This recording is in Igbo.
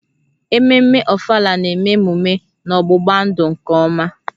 Ememme Ofala na-eme emume n'ọgbụgba-ndụ nke ọma